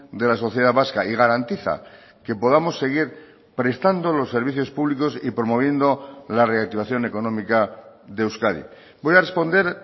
de la sociedad vasca y garantiza que podamos seguir prestando los servicios públicos y promoviendo la reactivación económica de euskadi voy a responder